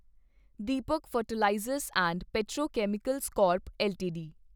Deepak fertilisers and petrochemicals corp LTD